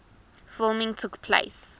filming took place